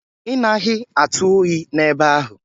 Ị naghị atụ oyi n'ebe ahụ?